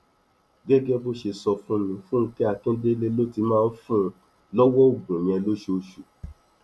gẹgẹ bó ṣe sọ fún mi fúnkẹ akíndélé ló ti máa ń fún un lọwọ oògùn yẹn lóṣooṣù